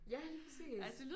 Ja lige præcis